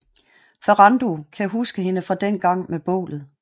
Ferrando kan huske hende fra dengang med bålet